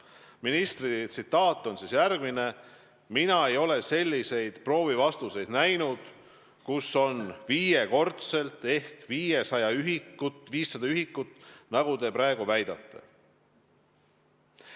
Ministri tsitaat on järgmine: "Mina ei ole selliseid proovi vastuseid näinud, kus on viiekordselt ehk 500 ühikut, nagu te praegu väidate.